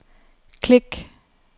klik